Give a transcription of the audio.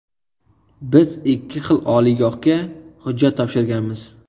Biz ikki xil oliygohga hujjat topshirganmiz.